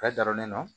Bɛɛ dar'o nɔ